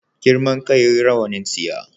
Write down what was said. Girman kai rawanin tsiya